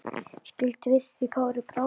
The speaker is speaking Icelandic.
Skildi við því Kári brá.